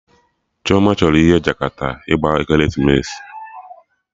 Ada chọrọ ihe Jakata gbaa ekeresimesi